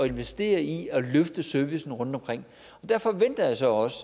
investere i at løfte servicen rundtomkring der forventer jeg så også